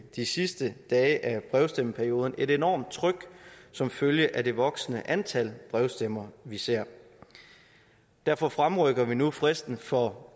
de sidste dage af brevstemmeperioden et enormt tryk som følge af det voksende antal brevstemmer vi ser derfor fremrykker vi nu fristen for